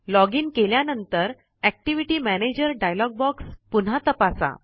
login केल्यानंतर activity manager dialog box पुन्हा तपासा